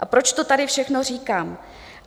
A proč to tady všechno říkám?